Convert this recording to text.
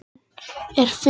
Enn er fimm saknað